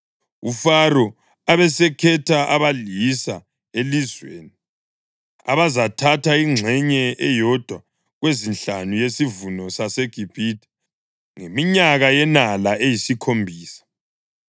UFaro abesekhetha abalisa elizweni abazathatha ingxenye eyodwa kwezinhlanu yesivuno saseGibhithe ngeminyaka yenala eyisikhombisa.